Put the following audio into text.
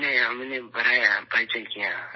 نہیں، ہم نے بڑھایا ، تعارف کیا